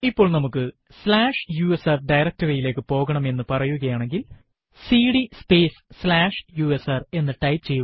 ഇപ്പോൾ നമുക്ക് slash U S R directory യിലേക്ക് പോകണം എന്ന് പറയുകയാണെങ്കിൽ സിഡി സ്പേസ് സ്ലാഷ് യുഎസ്ആർ എന്ന് ടൈപ്പ് ചെയ്യുക